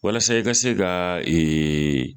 Walasa i ka se ka ee